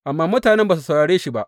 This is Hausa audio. Amma mutanen ba su saurare shi ba.